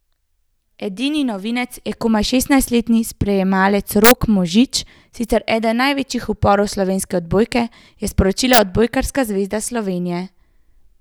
Edini novinec je komaj šestnajstletni sprejemalec Rok Možič, sicer eden največjih upov slovenske odbojke, je sporočila Odbojkarska zveza Slovenije.